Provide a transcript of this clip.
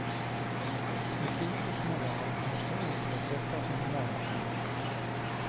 Etik och moral måste återupprättas inom näringslivet.